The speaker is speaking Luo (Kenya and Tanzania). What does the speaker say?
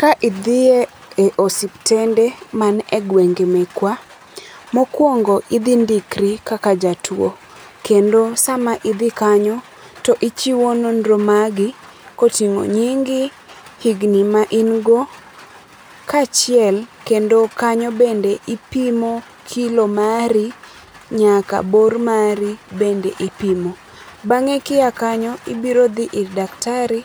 Ka idhie e osiptende manie gwenge mekwa, mokuongo idhi ndikri kaka jatuo kendo sama idhi kanyo to ichiwo nonro magi koting'o nyingi, higni main go kaachiel kendo kanyo bende ipimo kilo mari nyaka bor mari bende ipimo. Bang'e kia kanyo ibiro dhi ir daktari[c]